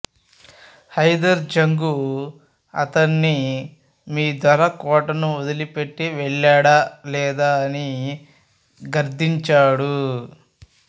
హైదర్ జంగు అతణ్ణి మీ దొర కోటను వదలిపెట్టి వెళ్ళాడా లేదా అని గద్దించాడు